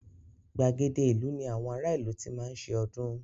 Gbàgede ìlú ní àwọn ará ìlú tí máa ń ṣe ọdún.